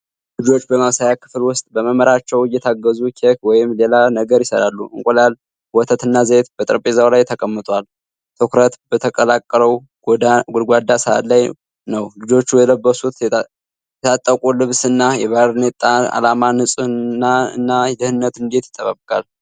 ልጆች በማብሰያ ክፍል ውስጥ በመምህራቸው እየታገዙ ኬክ ወይም ሌላ ነገር ይሠራሉ። እንቁላል፣ ወተት እና ዘይት በጠረጴዛው ላይ ተቀምጧል። ትኩረት በተቀላቀለው ጎድጓዳ ሳህን ላይ ነው። ልጆቹ የለበሱት የታጠቁ ልብስ እና የባርኔጣ ዓላማ ንጽሕናን እና ደህንነትን እንዴት ይጠብቃል?